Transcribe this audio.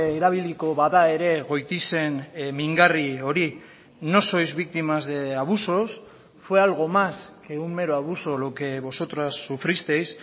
erabiliko bada ere goitizen mingarri hori no sois víctimas de abusos fue algo más que un mero abuso lo que vosotras sufristeis